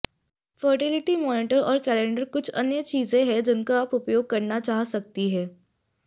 fertility monitor और calendar कुछ अन्य चीजें हैं जिनका आप उपयोग करना चाह सकती हैं